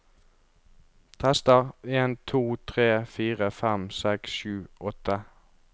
Tester en to tre fire fem seks sju åtte